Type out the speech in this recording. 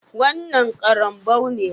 Wannan karambou ne?